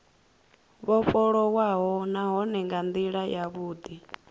vhofholowaho nahone nga ndila yavhudi